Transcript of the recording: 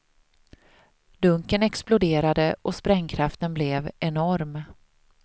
Dunken exploderade och sprängkraften blev enorm.